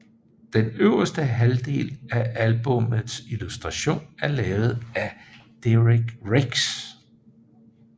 Den øverste halvdel af albummets illustration er lavet af Derek Riggs